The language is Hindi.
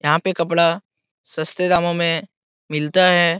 यहाँ पे कपड़ा सस्ते दामों में मिलता है।